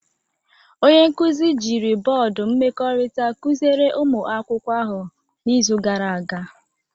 Onye nkuzi jiri bọọdụ mmekọrịta kụziere ụmụ akwụkwọ ahụ n'izu gara aga